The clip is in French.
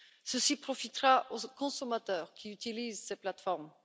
Cela profitera aux consommateurs qui utilisent ces plateformes.